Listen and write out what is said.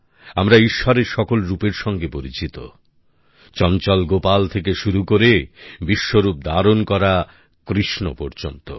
আমরা ঈশ্বরের সকল রূপের সঙ্গে পরিচিত চঞ্চল গোপাল থেকে শুরু করে বিশ্বরূপ ধারণ করা কৃষ্ণ পর্যন্ত